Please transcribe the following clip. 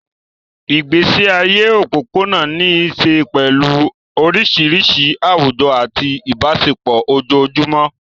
Ìgbésí ayé òpópónà ní í ṣe pẹ̀lú oríṣiríṣi àwùjọ àti ìbáṣepọ̀ ojoojúmọ́.